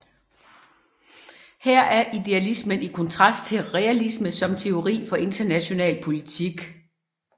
Her er idealismen i kontrast til realisme som teori for international politik